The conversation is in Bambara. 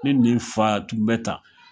Ne ni fa tun bɛ tan